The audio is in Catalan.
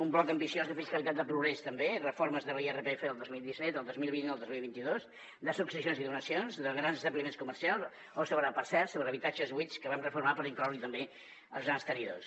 un bloc ambiciós de fiscalitat de progrés també reformes de l’irpf del dos mil disset el dos mil vint i el dos mil vint dos de successions i donacions de grans establiments comercials o sobre per cert habitatges buits que vam reformar per incloure hi també els grans tenidors